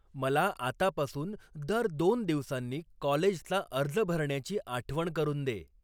मला आतापासून दर दोन दिवसांनी कॉलेजचा अर्ज भरण्याची आठवण करून दे